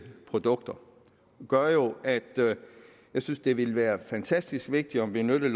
produkter jo gør at jeg synes det ville være fantastisk vigtigt at benytte